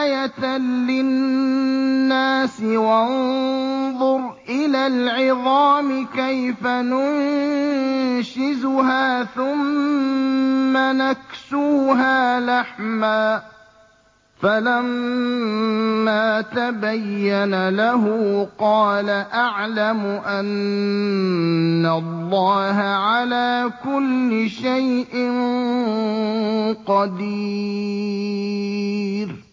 آيَةً لِّلنَّاسِ ۖ وَانظُرْ إِلَى الْعِظَامِ كَيْفَ نُنشِزُهَا ثُمَّ نَكْسُوهَا لَحْمًا ۚ فَلَمَّا تَبَيَّنَ لَهُ قَالَ أَعْلَمُ أَنَّ اللَّهَ عَلَىٰ كُلِّ شَيْءٍ قَدِيرٌ